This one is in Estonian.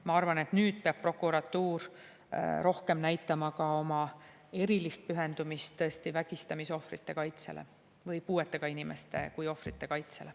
Ma arvan, et nüüd peab prokuratuur rohkem näitama ka oma erilist pühendumist vägistamisohvrite kaitsele ja puuetega inimeste kui ohvrite kaitsele.